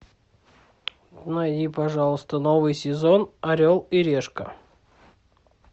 найди пожалуйста новый сезон орел и решка